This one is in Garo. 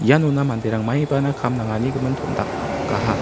ianona manderang maibana kam nangani gimin tom·dakaha.